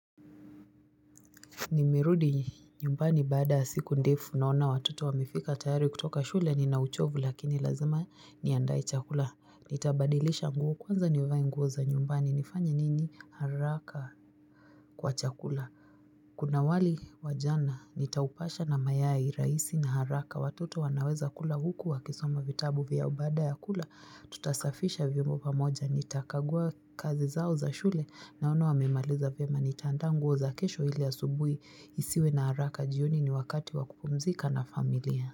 Nimerudi nyumbani baada ya siku ndefu naona watoto wamifika tayari kutoka shule nina uchovu lakini lazima niandae chakula. Nitabadilisha nguo kwanza nivae nguo za nyumbani nifanye nini haraka kwa chakula. Kuna wali wa jana nitaupasha na mayai raisi na haraka. Watoto wanaweza kula huku wakisoma vitabu vyao baada ya kula tutasafisha viombo pamoja. Nitakagua kazi zao za shule naono wamemaliza vyema nitandaa nguo za kesho hili asubui isiwe na haraka jioni ni wakati wa kupumzika na familia.